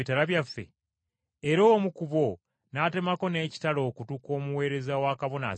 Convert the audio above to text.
Era omu ku bo n’atemako n’ekitala okutu kw’omuweereza wa Kabona Asinga Obukulu.